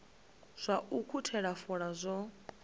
zwa u ukhuthela fola zwo